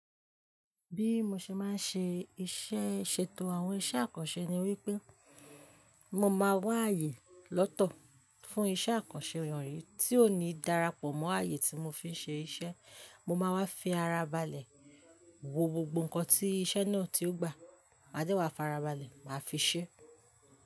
Bí mo ṣe máa ń ṣe iṣẹ́ ṣètò àwọn iṣẹ́ àkànṣe ni wípé mo máa wá ààyè lọ́tọ̀ fún iṣẹ́ àkànṣe wonyì tí ó ní darapọ̀ mọ́ ààyè tí mo fi ń ṣe iṣẹ́, mo máa wá fi ara balẹ̀, wo gbogbo nǹkan tí iṣẹ́ náà tí ó gbà, máa dẹ́wàá fi ara balẹ̀, màá fi ṣẹ́